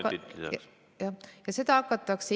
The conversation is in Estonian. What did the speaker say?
Kolm minutit juurde.